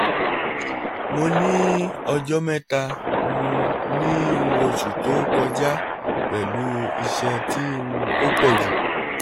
mo ni ọjọ mẹta um ni um oṣu to koja pẹlu iṣan ti um o pọju